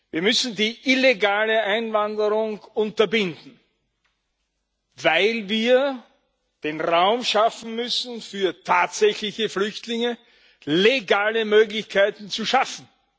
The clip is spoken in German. Wir müssen die illegale Einwanderung unterbinden, weil wir den Raum schaffen müssen, für tatsächliche Flüchtlinge legale Möglichkeiten zu schaffen.